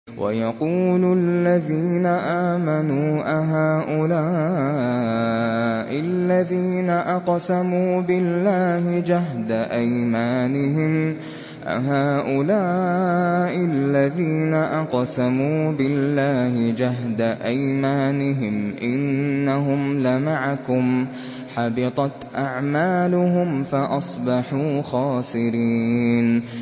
وَيَقُولُ الَّذِينَ آمَنُوا أَهَٰؤُلَاءِ الَّذِينَ أَقْسَمُوا بِاللَّهِ جَهْدَ أَيْمَانِهِمْ ۙ إِنَّهُمْ لَمَعَكُمْ ۚ حَبِطَتْ أَعْمَالُهُمْ فَأَصْبَحُوا خَاسِرِينَ